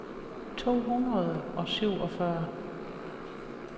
to hundrede og syvogfyrre